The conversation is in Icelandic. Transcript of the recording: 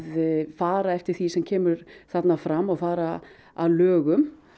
fara eftir því sem kemur þarna fram og fara að lögum